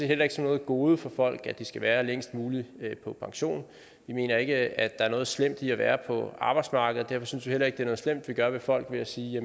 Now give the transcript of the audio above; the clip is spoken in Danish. heller ikke som noget gode for folk at de skal være længst muligt på pension vi mener ikke at er noget slemt ved at være på arbejdsmarkedet derfor synes vi heller ikke det noget slemt vi gør ved folk ved at sige